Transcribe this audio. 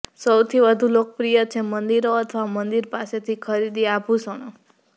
સૌથી વધુ લોકપ્રિય છે મંદિરો અથવા મંદિર પાસેથી ખરીદી આભૂષણો